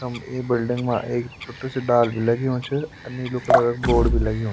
हम ये बिलडिंग मा एक छुट्टू सी डाल भी लग्युं च अर नीलू कलर क बोर्ड भी लग्युं।